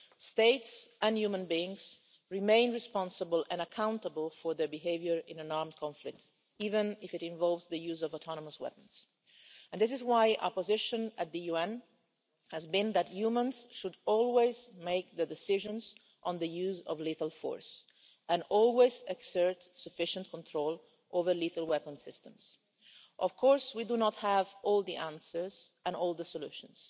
States and human beings remain responsible and accountable for their behaviour in an armed conflict, even if it involves the use of autonomous weapons, and this is why our position at the UN has been that humans should always make the decisions on the use of lethal force and always exert sufficient control over lethal weapon systems. Of course, we do not have all the answers or all the solutions,